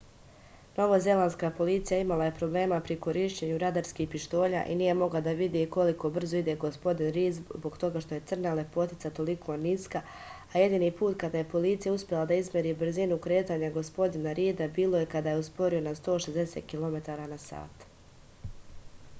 novozelandska policija imala je problema pri korišćenju radarskih pištolja i nije mogla da vidi koliko brzo ide gospodin rid zbog toga što je crna lepotica toliko niska a jedini put kada je policija uspela da izmeri brzinu kretanja gospodina rida bilo je kada je usporio na 160 km/h